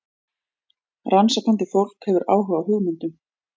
Rannsakandi fólk hefur áhuga á hugmyndum.